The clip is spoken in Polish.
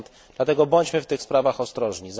Dlatego bądźmy w tych sprawach ostrożni.